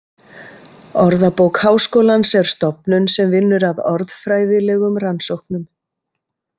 Orðabók Háskólans er stofnun sem vinnur að orðfræðilegum rannsóknum.